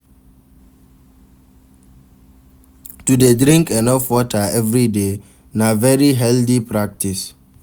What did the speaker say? To de drink enough water everyday na very healthy practice